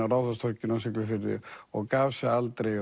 á Ráðhústorginu á Siglufirði og gaf sig aldrei